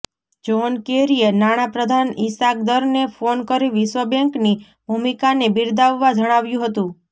John કેરીએ નાણાપ્રધાન ઈશાક દરને ફોન કરી વિશ્વ બેન્કની ભૂમિકાને બિરદાવવા જણાવ્યું હતું